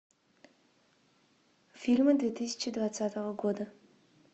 фильмы две тысячи двадцатого года